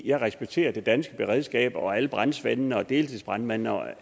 jeg respekterer det danske beredskab og alle brandsvendene og deltidsbrandmændene og